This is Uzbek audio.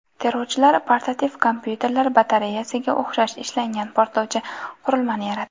Terrorchilar portativ kompyuterlar batareyasiga o‘xshash ishlangan portlovchi qurilmani yaratdi.